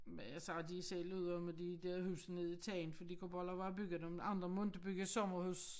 Men altså de selv ude om at de dér hus nede i Tangen for de kunne bare lade være med at bygge dem andre må inte bygge sommerhus